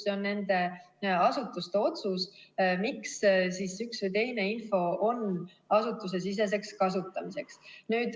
See on nende asutuste otsus, miks üks või teine info on asutusesiseseks kasutamiseks.